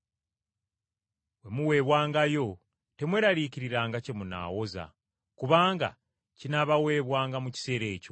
Bwe muweebwangayo, temweraliikiriranga kye munaawoza, kubanga kinaabaweebwanga mu kiseera ekyo.